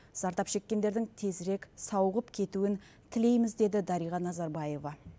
зардап шеккендердің тезірек сауығып кетуін тілейміз деді дариға назарбаева